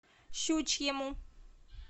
щучьему